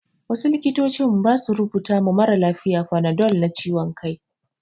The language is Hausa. Wasu likitocin ba su rubuta ma maralafiya fanadol na ciwon kai.